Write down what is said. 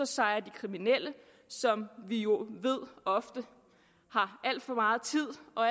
sejrer de kriminelle som vi jo ved ofte har alt for meget tid og